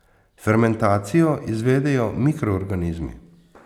Fermentacijo izvedejo mikroorganizmi.